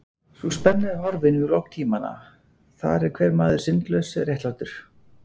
Sú spenna er horfin við lok tímanna, þar er hver maður syndlaus, réttlátur.